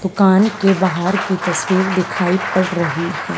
दुकान के बाहर की तस्वीर दिखाई पड़ रही है।